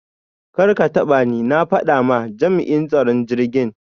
Karkatabani! na fada ma jam'in tsaron jirgin.